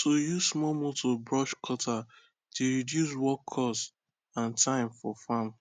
to use small motor brush cutter dey reduce work cost and time for farm